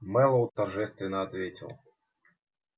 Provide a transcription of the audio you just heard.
мэллоу торжественно ответил